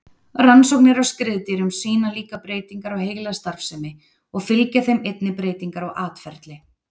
Rannsóknir á skriðdýrum sýna líkar breytingar á heilastarfsemi og fylgja þeim einnig breytingar á atferli.